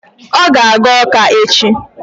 Ọ ga-aga Ọka echi.